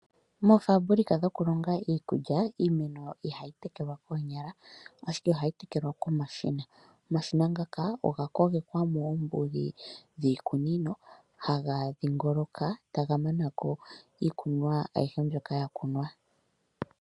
Moofaabulika dhokulonga iikulya iimeno ihayi tekelwa koonyala ashike ohayi tekelwa komashina. Omashina ngaka oga kogekwa moombuli dhiikunino haga dhingoloka taga mana ko iikunomwa ayihe mbyoka ya kunwa.